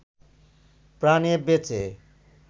প্রাণে বেঁচে